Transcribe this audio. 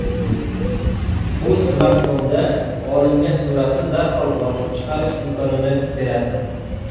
U smartfonda olingan suratni darhol bosib chiqarish imkonini beradi.